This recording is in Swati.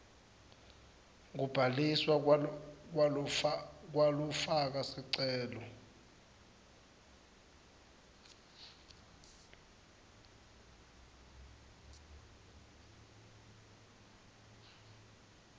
kubhaliswa kwalofaka sicelo